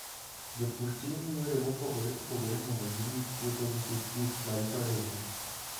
Jopur tiyo gi yore mopogore opogore mondo girit puothegi kik gik maricho hinye.